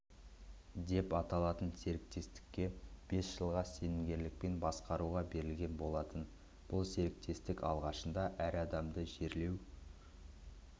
деп аталатын серіктестікке бес жылға сенімгерлікпен басқаруға берілген болатын бұл серіктестік алғашында әр адамды жерлеу